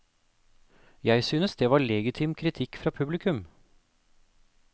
Jeg synes det var legitim kritikk fra publikum.